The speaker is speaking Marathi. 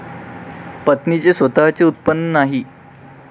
पत्नीचे स्वतःचे उत्पन्न नाही.